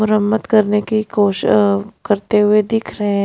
मुरमत करने की कोश अ करते हुए दिख रहे हैं।